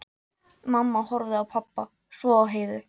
Mamma horfði á pabba, svo á Heiðu.